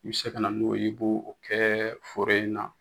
U be se ka na n'o ye i b'o o kɛ foro in na